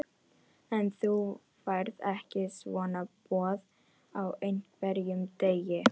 En þú færð ekki svona boð á hverjum degi.